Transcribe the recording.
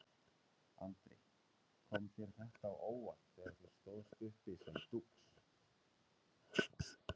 Andri: Kom þér þetta á óvart þegar þú stóðst uppi sem dúx?